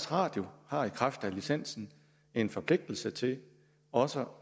radio har i kraft af licensen en forpligtelse til også